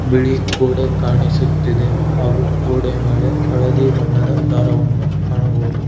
ಬಿಳಿ ಗೋಡೆ ಕಾಣಿಸುತ್ತಿದೆ ಹಾಗು ಗೋಡೆಯ ಮೇಳೆ ಹಳದಿ ಬಣ್ಣದ ದಾರವನ್ನು ಕಾಣಬಹುದು.